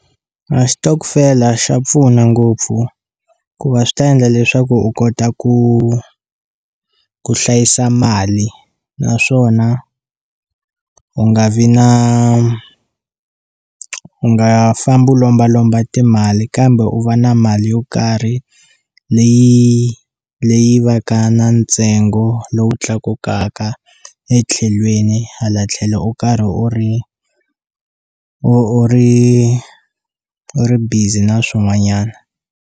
A xitokofela xa pfuna ngopfu ku va swi ta endla leswaku u kota ku ku hlayisa mali naswona u nga vi na u nga fambi u lombalomba timali kambe u va na mali yo karhi leyi leyi va ka na ntsengo lowu tlakukaka etlhelweni hala tlhelo u karhi u ri u u ri u ri busy na swin'wanyana.